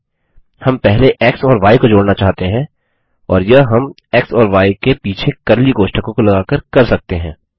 नहीं हम पहले एक्स और य को जोड़ना चाहते हैं और यह हम एक्स और य के पीछे कर्ली कोष्ठकों को लगाकर कर सकते हैं